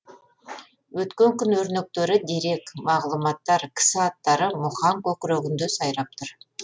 өткен күн өрнектері дерек мағлұматтар кісі аттары мұхаң көкірегінде сайрап тұр